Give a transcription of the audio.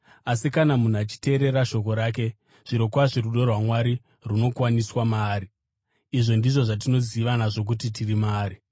Asi kana munhu achiteerera shoko rake, zvirokwazvo rudo rwaMwari runokwaniswa maari. Izvi ndizvo zvatinoziva nazvo kuti tiri maari: